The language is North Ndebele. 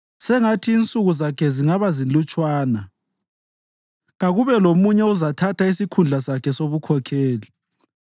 Sengathi insuku zakhe zingabazilutshwana; kakube lomunye ozathatha isikhundla sakhe sobukhokheli.